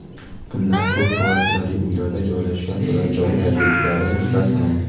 bundan ko‘p kvartirali uylarda joylashgan turar joy obyektlari mustasno;.